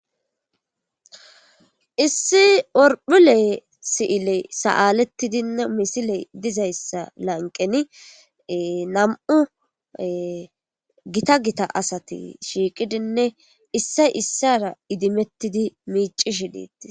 Issi orphile si'iley saaletidinne misiley dizayssa lanqeni nam'u gita gita asati shiiqidinne issay isara idimetidi miicishe de'etees.